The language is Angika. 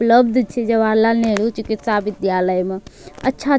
उपलब्ध छे जवाहर लाल नेहरू चिकित्सा विद्यालय में। अच्छा --